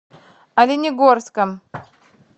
оленегорском